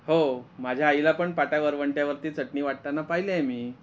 हो माझ्या आईला पण पाटा वरवंट्यावरती चटणी वाटताना पाहिल आहे मी.